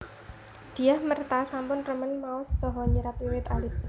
Dyah Merta sampun remen maos saha nyerat wiwit alit